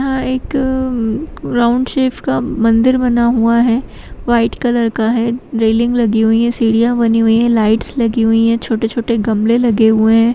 यहाँ एक-क-क round shape का मंदिर बना हुआ है वाइट कलर का है रैलिंग लगी हुई है सीढ़ियाँ बनी हुई हैं लाइट्स लगी हुई हैं छोटे-छोटे गमले लगे हुए हैं।